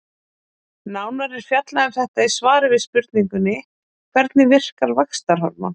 Nánar er fjallað um þetta í svari við spurningunni Hvernig virkar vaxtarhormón?